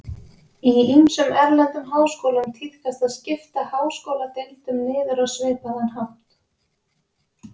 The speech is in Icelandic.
Í ýmsum erlendum háskólum tíðkast að skipta háskóladeildum niður á svipaðan hátt.